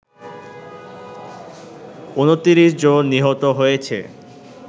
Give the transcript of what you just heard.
২৯ জন নিহত হয়েছে